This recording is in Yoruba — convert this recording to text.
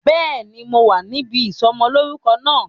Béèni, mo wà níbí ìsọmọ lórúkọ náà